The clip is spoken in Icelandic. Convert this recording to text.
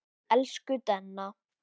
Elsku Denna.